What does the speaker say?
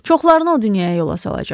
Çoxlarını o dünyaya yola salacağam.